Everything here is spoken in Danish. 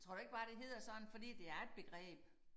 Tror du ikke bare det hedder sådan fordi det er et begreb